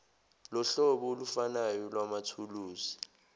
lohlobo olufanayo lwamathuluzi